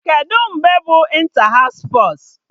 Kedụ mgbe bụ ịnta haụs spọs?